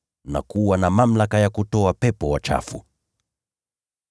na kuwa na mamlaka ya kutoa pepo wachafu.